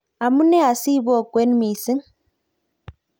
amune asibokwen mising?